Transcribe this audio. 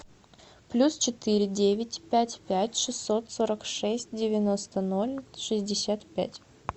плюс четыре девять пять пять шестьсот сорок шесть девяносто ноль шестьдесят пять